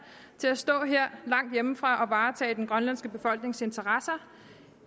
til at stå her langt hjemmefra varetage den grønlandske befolknings interesser